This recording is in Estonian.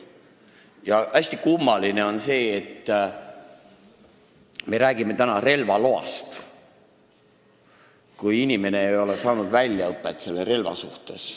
Ja hästi kummaline on see, et me räägime täna relvaloast, kui inimene ei ole saanud relvaalast väljaõpet.